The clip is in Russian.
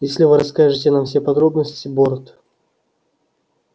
если вы расскажете нам все подробности борт